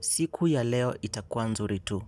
Siku ya leo itakua nzuri tu.